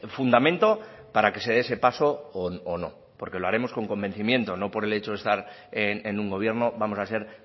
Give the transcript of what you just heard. fundamento para que se dé ese paso o no porque lo haremos con convencimiento no por el hecho de estar en un gobierno vamos a ser